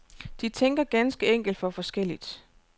De tænker ganske enkelt for forskelligt.